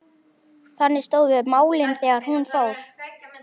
Þannig stóðu málin þegar hún fór.